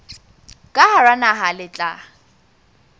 ka hara naha le tla